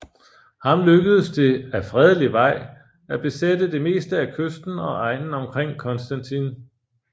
Ham lykkedes det ad fredelig Vej at besætte det meste af kysten og egnen omkring Constantine